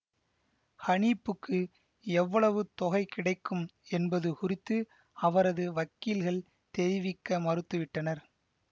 ஹனீப்புக்கு எவ்வளவு தொகை கிடைக்கும் என்பது குறித்து அவரது வக்கீல்கள் தெரிவிக்க மறுத்து விட்டனர்